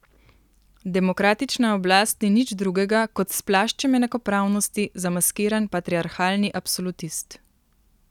Demokratična oblast ni nič drugega kot s plaščem enakopravnosti zamaskiran patriarhalni absolutist.